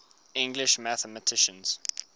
english mathematicians